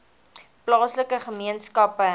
plaaslike gemeenskappe help